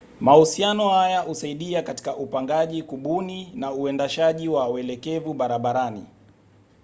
mahusiano haya husaidia katika upangaji kubuni na uendeshaji wa welekevu barabarani